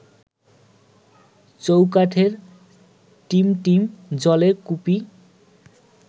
চৌকাঠে টিমটিম জ্বলে কুপি